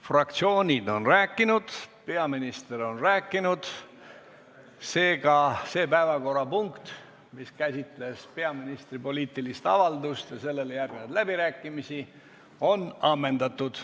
Fraktsioonid on rääkinud, peaminister on rääkinud, seega see päevakorrapunkt, mis käsitles peaministri poliitilist avaldust ja sellele järgnenud läbirääkimisi, on ammendatud.